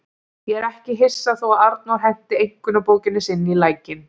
Ég er ekki hissa þó að Arnór henti einkunnabókinni sinni í lækinn.